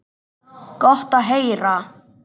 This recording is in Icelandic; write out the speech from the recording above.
Gott að heyra.